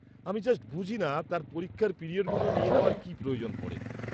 -আমি জাস্ট বুঝিনা তার পরীক্ষার পিরিয়ডগুলো নিয়ে নেওয়ার কী প্রয়োজন পরে।